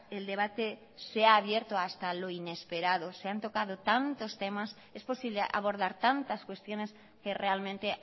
el debate se ha abierto hasta lo inesperado se han tocado tantos temas es posible abordar tantas cuestiones que realmente